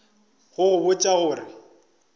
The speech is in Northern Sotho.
go go botša go re